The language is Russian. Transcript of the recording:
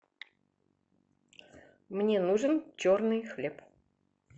мне нужен черный хлеб